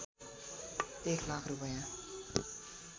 १ लाख रूपैया